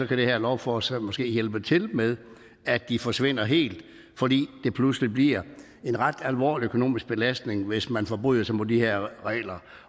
kan det her lovforslag måske hjælpe til med at de forsvinder helt fordi det pludselig bliver en ret alvorlig økonomisk belastning hvis man forbryder sig mod de her regler